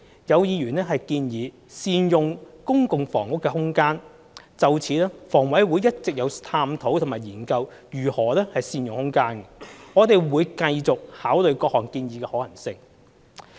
有議員建議善用公共房屋的空間，就此香港房屋委員會一直有探討及研究如何善用空間，我們會繼續考慮各項建議的可行性。